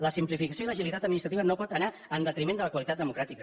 la simplificació i l’agilitat administrativa no poden anar en detriment de la qualitat democràtica